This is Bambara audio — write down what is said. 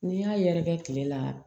N'i y'a yɛrɛkɛ kile la